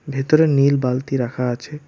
ভেতরে নীল বালতি রাখা আছে।